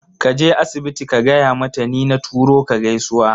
Kaje asibiti ka gaya mata ni na turo ka gaisuwa